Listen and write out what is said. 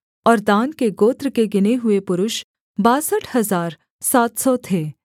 और दान के गोत्र के गिने हुए पुरुष बासठ हजार सात सौ थे